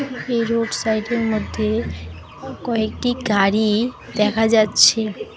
একটি road side -এর মধ্যে অ কয়েকটি গাড়ি দেখা যাচ্ছে।